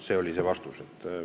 See oli see vastus.